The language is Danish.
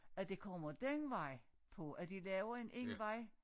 At det kommer den vej på at de laver en en vej